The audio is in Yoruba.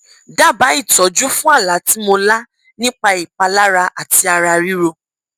dábàá ìtọjú fún àlá tí mo lá nípa ìpalára àti ara ríro